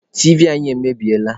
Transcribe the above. Tiivi anyị emebiela.